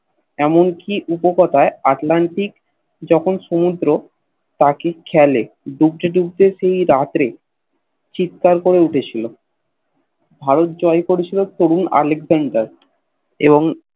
এমন কি উপকতাই আটলান্টিক যখন সমুদ্র পাখির খেয়ালে ডুবতে ডুবতে সেই রাতে চিত্কার করে উঠেছিল ভারত জয় করে ছিল তরুণ আলেকজান্ডার এবং